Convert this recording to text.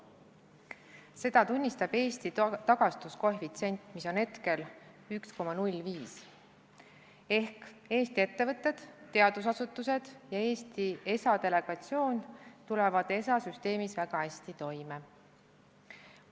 Seda tunnistab Eesti tagastuskoefitsient, mis on hetkel 1,05, ehk Eesti ettevõtted, teadusasutused ja Eesti ESA delegatsioon tulevad ESA süsteemis väga hästi toime.